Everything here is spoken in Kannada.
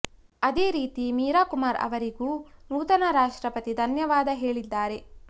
ಅದೇ ರೀತಿ ಮೀರಾ ಕುಮಾರ್ ಅವರಿಗೂ ನೂತನ ರಾಷ್ಟ್ರಪತಿ ಧನ್ಯವಾದ ಹೇಳಿದ್ದಾರೆ